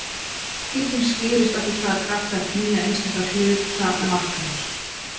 Þessi skipting skýrist af því hvaða kraftar knýja einstaka hluta makkarins.